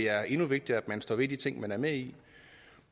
er endnu vigtigere at man står ved de ting man er med i